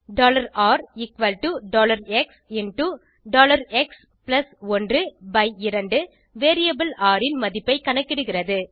rxஎக்ஸ்12 variable ர் ன் மதிப்பைக் கணக்கிடுகிறது